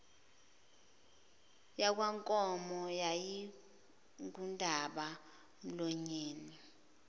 yakwankomo yayingundaba mlonyeni